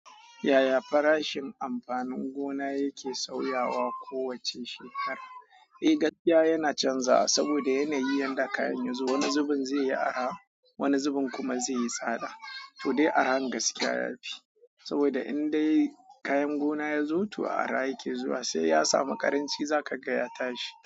Yaya farashin amfanin gona yake sauyawa kowace shekara? Eh gaskiya yana canzawa saboda yanayin da kayan yazo. Wani zubin zai yi arha, wani zubin kuma zai yi tsada. To dai arha gaskiya yafi saboda in dai kayan gona yazo to arha yake zuwa sai ya samu ƙaranci za ka ga ya tashi.